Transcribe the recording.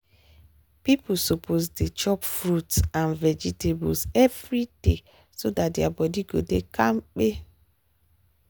people suppose dey chop fruit and vegetables every day so dat their body go dey kampe.